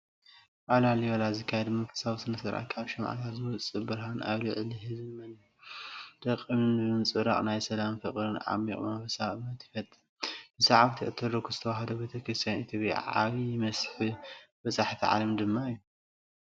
ኣብ ላሊበላ ዝካየድ መንፈሳዊ ስነ-ስርዓት፣ ካብ ሽምዓታት ዝወጽእ ብርሃን ኣብ ልዕሊ ህዝብን መንደቕ እምንን ብምንጽብራቕ ናይ ሰላምን ፍቕርን ዓሚቝ መንፈሳውነትን ስምዒት ይፈጥር። ንሰዓብቲ ኦርቶዶክስ ተዋህዶ ቤተ ክርስቲያን ኢትዮጵያ ዓቢይ መስሕብ በጻሕቲ ዓለም ድማ እዩ።